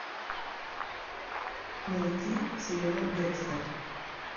найти сериал декстер